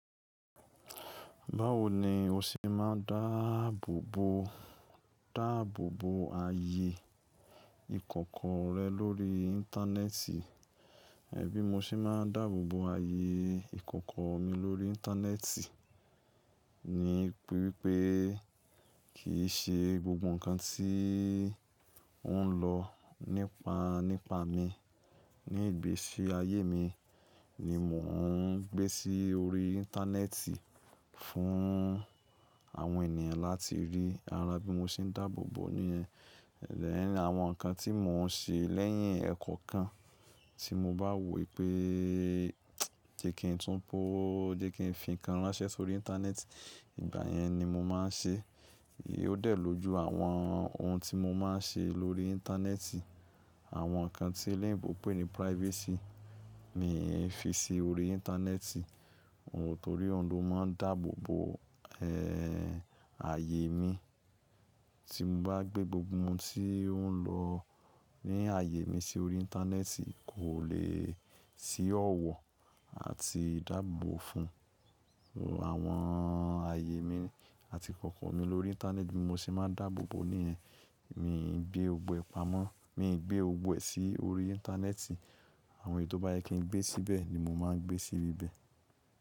Báwo ni o ṣe máa ń dáàbòbò, dáàbòbò ayé ìkòkò rẹ lórí íńtánẹ́ẹ̀tì? Ẹ̀bí mo ṣe máa ń dáàbòbò ayé ìkòkò mi lórí íńtánẹ́ẹ̀tì, ni wípé kì í ṣe gbogbo ǹkan tí ó ń lọ nípá, nípá mi. Ní ìgbésí ayé mi ni mò ń gbé sí orí íńtánẹ́ẹ̀tì fún àwọn ènìyàn láti rí, ara bí mo ṣe ń dáàbòbò ní ẹ. Ẹ̀ lè ní àwọn ǹkan tí mò ń ṣe lẹ́yìn ẹ̀kọ́ kan tí mo bá wò pé jẹ́ kí n tún pó ó, jẹ́ kí n fi ǹkan ránṣẹ́ sórí íńtánẹ́ẹ̀tì, ìgbà yẹn ni mo máa ń ṣe. Ó dẹ̀ lójú àwọn ohun tí mo máa ń ṣe lórí íńtánẹ́ẹ̀tì. Àwọn ǹkan tí eléńbo pè ní privacy, mi ò fi ṣe orí íńtánẹ́ẹ̀tì. Nítorí ohun ló máa ń dáàbòbò ẹ́ ayé mi. Tí mo bá gbé gbogbo ohun tí ó ń lọ ní ayé mi sí orí íńtánẹ́ẹ̀tì, kò lè sí ọ̀wọ̀ àti ìdáàbò fún àwọn ayé mi àti ìkòkò mi lórí íńtánẹ́ẹ̀tì bí mo ṣe máa ń dáàbòbò ní ẹ. Mi ò ń gbé egbò ẹ pamọ́, mi ò ń gbé egbò ẹ sí orí íńtánẹ́ẹ̀tì. Àwọn èyí tó bá yẹ kí n gbé síbẹ̀ ni mo máa ń gbé sí ibẹ̀.